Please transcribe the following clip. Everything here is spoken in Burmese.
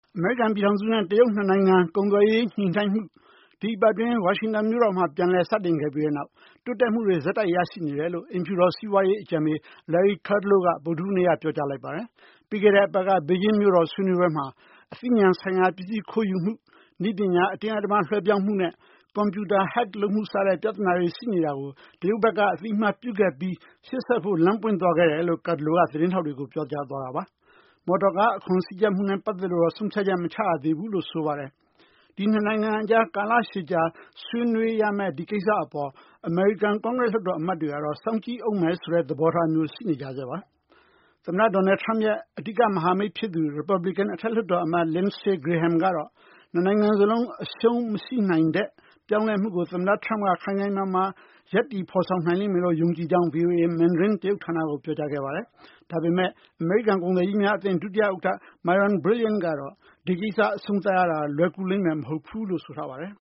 အမေရိကန် ပြည်ထောင်စုနဲ့ တရုတ် နှစ်နိုင်ငံ ကုန်သွယ်ရေး ညှိနှိုင်းမှု ဒီသတင်းပတ် အတွင်း ဝါရှင်တန် မြို့တော်မှာ ပြန်လည် စတင်ခဲ့ပြီးတဲ့နောက် တိုးတက်မှုတွေ ဆက်တိုက် ရရှိနေတယ်လို့ အိမ်ဖြူတော် စီးပွားရေး အကြံပေး Larry Kudlow က ဗုဒ္ဓဟူးနေ့က ပြောကြားလိုက်ပါတယ်။ ပြီးခဲ့တဲ့ သတင်းပတ် ဘေဂျင်းမြို့တော် ဆွေးနွေးပွဲမှာ အသိညဏ် ဆိုင်ရာ ပစ္စည်း ခိုးယူမှု၊ နည်းပညာ အတင်းအဓမ္မ လွှဲပြောင်းမှုနဲ့ ကွန်ပြူတာ ဟက်ခ် လုပ်မှု စတဲ့ ပြသနာတွေ ရှိနေတာကို တရုတ်ဘက်က အသိအမှတ်ပြုခဲ့ပြီး ရှေ့ဆက်ဖို့ လမ်းပွင့်သွားခဲ့တယ်လို့ Kudlow က သတင်းထောက်တွေကို ပြောကြားသွားတာပါ။ မော်တော်ကား အခွန်စည်းကြပ်မှုနဲ့ ပတ်သက်လို့တော့ ဆုံးဖြတ်ချက် မချရသေးဘူးလို့ ဆိုပါတယ်။ ဒီနှစ်နိုင်ငံကြား ကာလရှည်ကြာ ဆွေးနွေးရမယ့် ဒီကိစ္စ အပေါ်အမေရိကန် ကွန်ဂရက် လွှတ်တော်အမတ်တွေကတော့ စောင့်ကြည့်ဦးမယ်ဆိုတဲ့ သဘောထားမျိုး ရှိနေကြဆဲပါ။ သမ္မတ Donald Trump ရဲ့ အဓိက မဟာမိတ်ဖြစ်သူ ရီပတ်ပလီကန် အထက်လွှတ်တော် အမတ် Lindsey Graham ကတော့ နှစ်နိုင်ငံ စလုံး အရှှုံး မရှိနိုင်တဲ့ ပြောင်းလဲမှုကို သမ္မတ Trump က ခိုင်ခိုင်မာမာ ရပ်တည် ဖော်ဆောင်နိုင်မယ်လို့ ယုံကြည်ကြောင်း ဗွီအိုအေမန်ဒရင်း တရုတ်ဌာနကို ပြောကြားခဲ့ပါတယ်။ ဒါပေမယ့် အမေရိကန် ကုန်သည်ကြီးများ အသင်း ဒုတိယ ဥက္ကဌ ကတော့ ဒီကိစ္စ အဆုံးသတ်ရတာ လွယ်ကူလိမ့်မယ် မဟုတ်ဘူးလို့ ဆိုထားပါတယ်။